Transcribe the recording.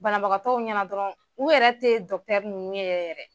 Banabagatɔw ɲɛna dɔrɔn u yɛrɛ tɛ nunnu ye yɛrɛ.